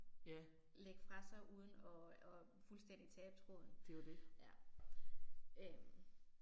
Ja. Det er jo det